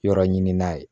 Yɔrɔ ɲini n'a ye